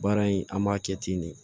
Baara in an b'a kɛ ten de